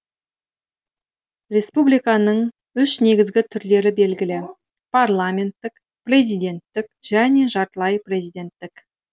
республиканың үш негізгі түрлері белгілі парламенттік президенттік және жартылай президенттік